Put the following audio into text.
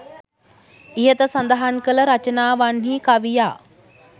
ඉහත සඳහන් කළ රචනාවන්හි කවියා